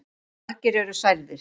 Margir eru særðir.